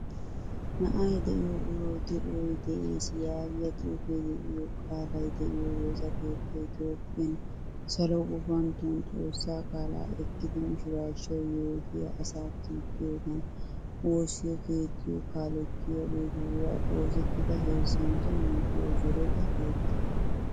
Na'ay deiyo urawu de'oy de'ees yaagiya xuufe deiyo qaalay de'o woosaa keettay Toophphiyaan salo gufantton xoossa qaala ekkidi misirachuwaa yootiyaa asa kitiyogan woosiyo keetiyo kalettiyagetura oosettida heezzantto yuushshuwa zoretta keetta.